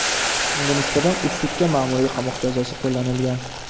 Unga nisbatan uch sutka ma’muriy qamoq jazosi qo‘llanilgan.